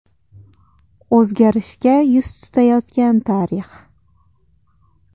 O‘zgarishga yuz tutayotgan tarix.